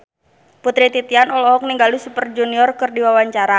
Putri Titian olohok ningali Super Junior keur diwawancara